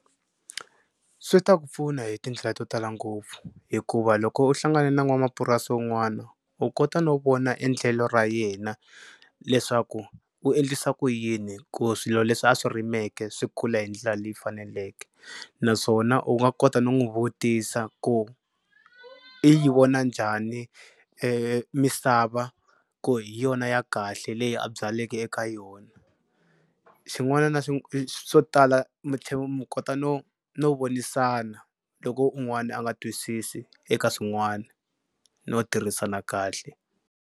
Swi ta ku pfuna hi tindlela to tala ngopfu hikuva loko u hlangane na n'wanamapurasi wun'wana u kota no vona endlelo ra yena leswaku u endlisa ku yini ku swilo leswi a swi rimeke swi kula hi ndlela leyi faneleke naswona u nga kota no n'wi vutisa ku i yi vona njhani misava ku hi yona ya kahle leyi a byaleke eka yona. Xin'wana swo tala mi tlhela mi kota no no vonisana loko un'wana a nga twisisi eka swin'wana no tirhisana kahle.